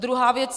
Druhá věc.